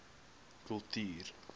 kultuur